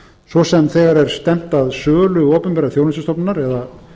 svo sem þegar stefnt er að sölu opinberrar þjónustustofnunar eða